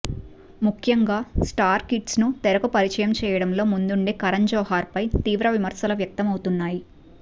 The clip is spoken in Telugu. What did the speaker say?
ముఖ్యంగా స్టార్ కిడ్స్ను తెరకు పరిచయం చేయడంలో ముందుండే కరణ్ జోహార్పై తీవ్ర విమర్శలు వ్యక్తమవుతున్నాయి